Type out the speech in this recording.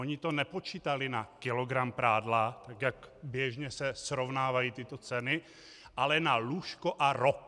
Oni to nepočítali na kilogram prádla, tak jak běžně se srovnávají tyto ceny, ale na lůžko a rok.